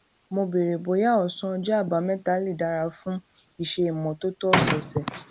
mo béèrè bóyá òsán ọjó àbámẹta lè dára fún iṣé ìmótótó òsòòsè